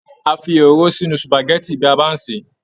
A fí òróró sínú supágẹ̀tì bí s bá n ṣe.